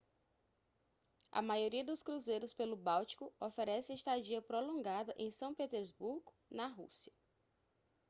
a maioria dos cruzeiros pelo báltico oferece estadia prolongada em são petersburgo na rússia